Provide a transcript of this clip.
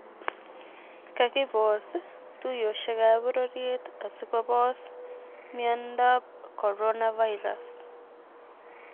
Kagipos tuyoshekaap pororyet asikopos myondap coronavirus